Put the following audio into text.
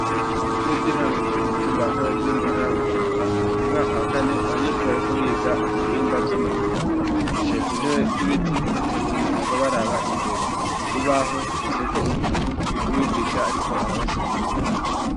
Ku ishure ry'intango ryo ku mutumba wa kabezi muntara ya Bujumbura mu mwaka wa kane abanyeshure bariko biga ibihimba vy'umuntu bicaye ku ntebe z'ibiti batonze umurongo baraba imbere kurubaho hashapye ko umuntu n'umwigisha ariko arabasigurira.